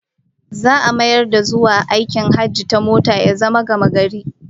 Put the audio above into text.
Za'a mayar da zuwa aikin hajji ta mota ya zama gamagari